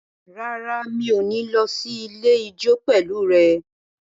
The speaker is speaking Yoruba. Rárá, mi ò ní lọ sí ilé ijó pẹ̀lú rẹ